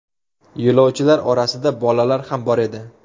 Yo‘lovchilar orasida bolalar ham bor edi.